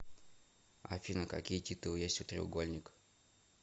афина какие титулы есть у треугольникъ